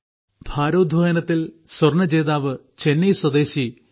ഭാരോദ്വഹനത്തിൽ സ്വർണ ജേതാവ് ചെന്നൈ സ്വദേശി എൽ